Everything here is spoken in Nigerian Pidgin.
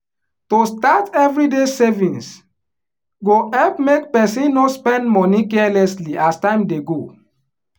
to start everyday savings go help make person no spend money carelessly as time dey go